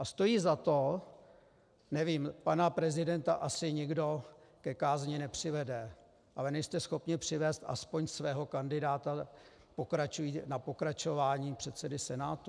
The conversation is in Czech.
A stojí za to - nevím, pana prezidenta asi nikdo ke kázni nepřivede, ale nejste schopni přivést aspoň svého kandidáta na pokračování předsedy Senátu?